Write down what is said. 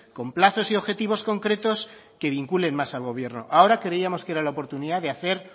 con plazos y objetivos concretos que vinculen más al gobierno ahora creíamos que era la oportunidad de hacer